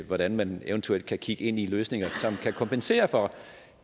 hvordan man eventuelt kan kigge ind i løsninger som kan kompensere for